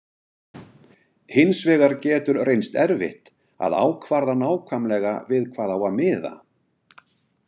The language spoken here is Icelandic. Hins vegar getur reynst erfitt að ákvarða nákvæmlega við hvað á að miða.